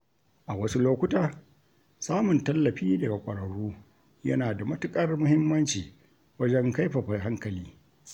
A wasu lokuta, samun tallafi daga ƙwararru yana da matuƙar muhimmanci wajen kaifafa hankali.